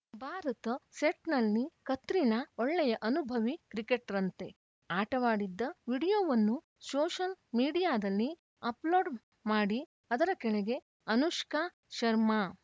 ಭಾರತ್‌ ಸೆಟ್‌ನಲ್ಲಿ ಕತ್ರಿನಾ ಒಳ್ಳೆಯ ಅನುಭವಿ ಕ್ರಿಕೆಟರ್‌ನಂತೆ ಆಟವಾಡಿದ್ದ ವಿಡಿಯೋವನ್ನು ಸೋಷಲ್‌ ಮೀಡಿಯಾದಲ್ಲಿ ಅಪ್‌ಲೋಡ್‌ ಮಾಡಿ ಅದರ ಕೆಳಗೆ ಅನುಷ್ಕಾ ಶರ್ಮಾ